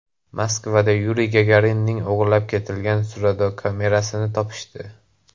Moskvada Yuriy Gagarinning o‘g‘irlab ketilgan surdokamerasini topishdi.